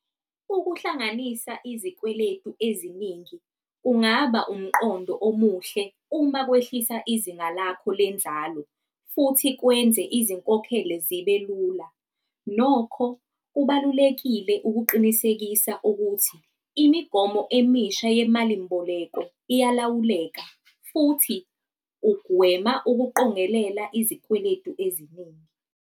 Ukuhlanganisa izikweletu eziningi kungaba umqondo omuhle uma kwehlisa izinga lakho lenzalo futhi kwenze izinkokhele zibe lula. Nokho kubalulekile ukuqinisekisa ukuthi imigomo emisha yemalimboleko iyalawuleka, futhi ugwema ukuqongelela izikweletu eziningi.